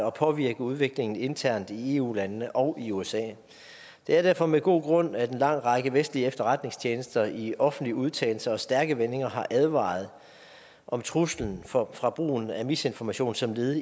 og påvirke udviklingen internt i eu landene og i usa det er derfor med god grund at en lang række vestlige efterretningstjenester i offentlige udtalelser og stærke vendinger har advaret om truslen fra fra brugen af misinformation som led